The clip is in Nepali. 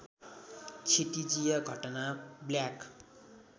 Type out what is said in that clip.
क्षितिजीय घटना ब्ल्याक